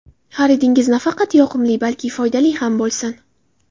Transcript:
Xaridingiz nafaqat yoqimli, balki foydali ham bo‘lsin!